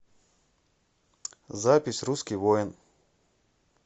запись русский воин